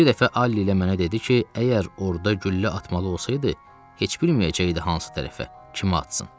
Bir dəfə Ali ilə mənə dedi ki, əgər orda güllə atmalı olsaydı, heç bilməyəcəkdi hansı tərəfə, kimə atsın.